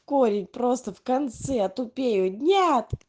корень просто в конце тупею нет